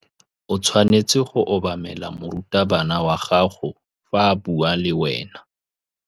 O tshwanetse go obamela morutabana wa gago fa a bua le wena.